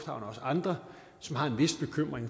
andre har en vis bekymring